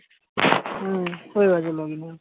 হম হয়ে গেছে আহ login